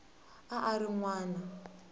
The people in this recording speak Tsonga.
a a ri n wana